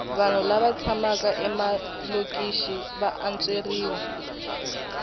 vanhu lava tshamaka emalokixi va antsweriwa